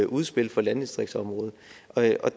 udspil for landdistriktsområdet